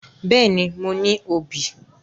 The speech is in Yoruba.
Bẹ́ẹ̀ni, mo ní obì